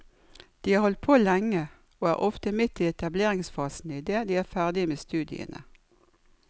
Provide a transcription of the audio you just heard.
De har holdt på lenge, og er ofte midt i etableringsfasen idet de er ferdige med studiene.